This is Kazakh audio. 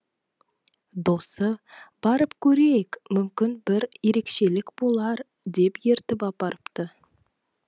досы барып көрейік мүмкін бір ерекшелік болар деп ертіп апарыпты